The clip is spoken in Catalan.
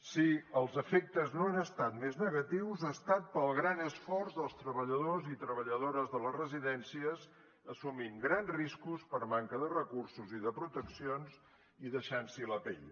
si els efectes no han estat més negatius ha estat pel gran esforç dels treballadors i treballadores de les residències assumint grans riscos per manca de recursos i de proteccions i deixant s’hi la pell